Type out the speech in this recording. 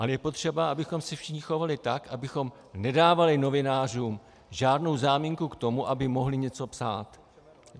Ale je potřeba, abychom se všichni chovali tak, abychom nedávali novinářům žádnou záminku k tomu, aby mohli něco psát.